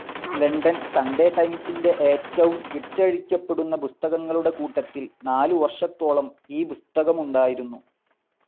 London Sunday ടൈംസിൻ്റെ ഏറ്റവും വിറ്റഴിക്കപ്പെടുന്ന പുസ്തകങ്ങളുടെ കൂട്ടത്തിൽ നാലു വർഷത്തോളം ഈ പുസ്തകമുണ്ടായിരുന്നു.